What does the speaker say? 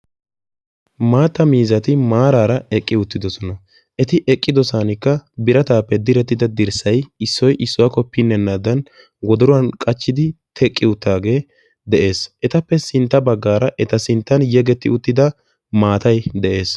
Maattaa miizzatti maarara eqqidosonna. Direttidda dirssay issoy issuwa qohenaddan de'ees qassikka etti miyo maatay dees.